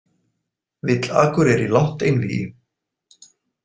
Vill Akureyri langt einvígi